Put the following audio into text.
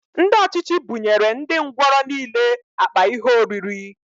Ndị ọchịchị buṅyere ndị ngwọrọ nile akpa ihe oriri